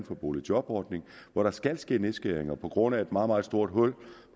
for boligjobordningen og hvor der skal ske nedskæringer på grund af et meget meget stort hul